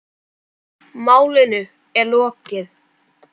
Málinu er lokið.